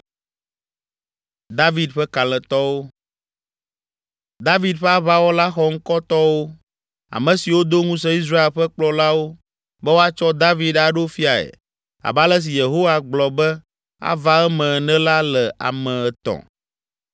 David ƒe aʋawɔla xɔŋkɔtɔwo, ame siwo do ŋusẽ Israel ƒe kplɔlawo be woatsɔ David aɖo fiae abe ale si Yehowa gblɔ be ava eme ene la le ame etɔ̃.